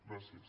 gràcies